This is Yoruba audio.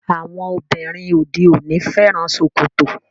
Àwọn obìnrin òde òní fẹ́ràn ṣòkòtò.